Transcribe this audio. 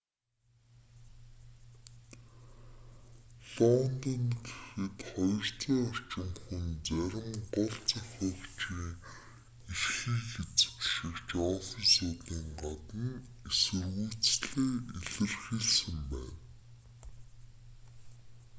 лондонд гэхэд 200 орчим хүн зарим гол зохиогчийн эрхийг эзэмшигч оффисуудын гадна эсэргүүцлээ илэрхийлсэн байна